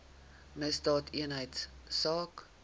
misdaadeenheidsaak